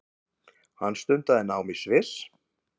Hann stundaði nám í Sviss